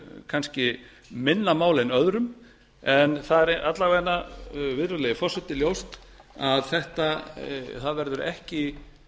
kannski minna mál en öðrum en a er alla vega virðulegi forseti ljóst að það verður ekki